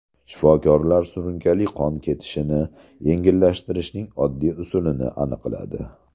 Shifokorlar surunkali qon ketishini yengillatishning oddiy usulini aniqladi.